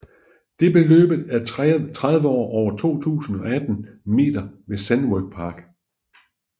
Det bliver løbet af treårige over 2 018 meter ved Sandown Park